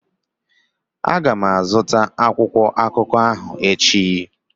Aga m azụta akwụkwọ akụkọ ahụ echi.